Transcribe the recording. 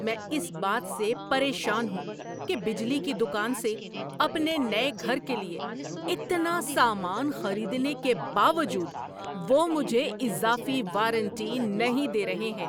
میں اس بات سے پریشان ہوں کہ بجلی کی دکان سے اپنے نئے گھر کے لیے اتنا سامان خریدنے کے باوجود وہ مجھے اضافی وارنٹی نہیں دے رہے ہیں۔